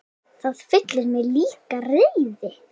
Það fyllir mig líka reiði.